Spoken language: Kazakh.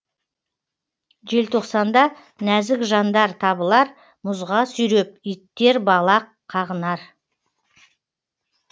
желтоқсанда нәзік жандар табылар мұзға сүйреп иттер балақ қағынар